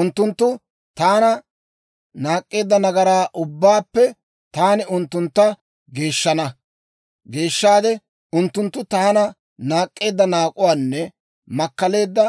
Unttunttu taana naak'k'eedda nagaraa ubbaappe taani unttuntta geeshshana; geeshshaade unttunttu taana naak'k'eedda naak'uwaanne makkaleedda